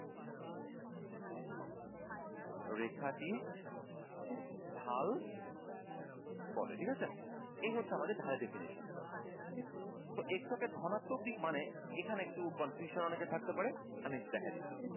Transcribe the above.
রেখাটির ঢাল বলে ঠিকাছে এই হচ্ছে আমাদের ধারাটির definition তো x অক্ষ কে ধনাত্বক দিক মানে এখানে একটু confusion অনেকের থাকতে পারে আমি একটু দেখাই দিচ্ছি